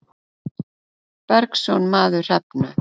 Bergsson maður Hrefnu.